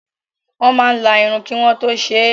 Wọ́n máa la irun kí wọ́n tó ṣe é.